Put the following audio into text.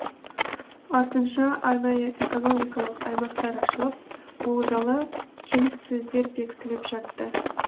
артынша арнайы экономикалық аймақтар ашылып олжалы келіссөздер бекітіліп жатты